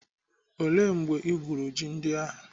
Ele mgbe igwuru ji ndị ahụ?